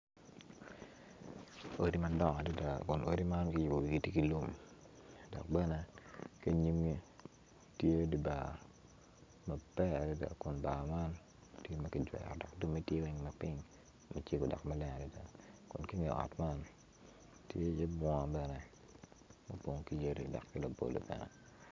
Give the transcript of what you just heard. Odi madongo adada odi man kiyubo gitye ki lum dok bene kinyimgi tye dibar maber adada kun bar man tye magigwero time tye weng laping macego dok maleng adada kun ki nge ot man tye i ye bunga bene opong ki yadi dok ki labolo bene.